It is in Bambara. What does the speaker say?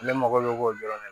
Ale mago bɛ k'o dɔrɔn na